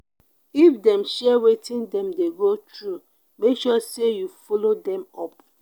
if them share wetin dem dey go through make sure say you follow them up